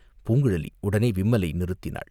பூங்குழலி உடனே விம்மலை நிறுத்தினாள்.